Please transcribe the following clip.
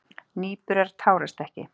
Nýburar tárast ekki.